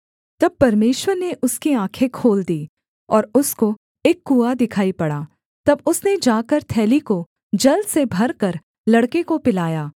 तब परमेश्वर ने उसकी आँखें खोल दीं और उसको एक कुआँ दिखाई पड़ा तब उसने जाकर थैली को जल से भरकर लड़के को पिलाया